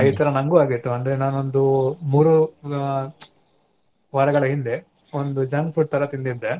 ಈ ತರಾ ನನಗೂ ಆಗಿತ್ತು ಅಂದ್ರೆ ನಾನೊಂದು ಮೂರು ವ~ ವಾರಗಳ ಹಿಂದೆ ಒಂದು junk food ತರಾ ತಿಂದಿದ್ದೇ.